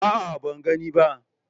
A'a, ban gani ba.